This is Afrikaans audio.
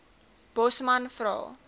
bosman vra